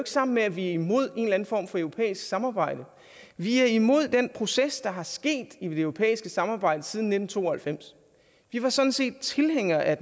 sammen med at vi er imod en eller anden form for europæisk samarbejde vi er imod den proces der er sket i det europæiske samarbejde siden nitten to og halvfems vi var sådan set tilhængere af